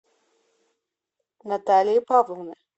наталии павловны